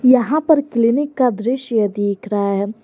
यहां पर क्लीनिक का दृश्य दिख रहा है।